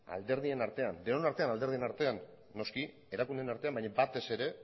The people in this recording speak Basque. alderdien artean denon artean alderdien artean noski erakundeen artean baina batez ere